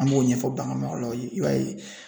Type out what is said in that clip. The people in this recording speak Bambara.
An b'o ɲɛfɔ baganmaralaw ye i b'a ye